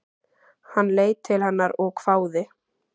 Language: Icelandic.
Hann leit til hennar og hváði.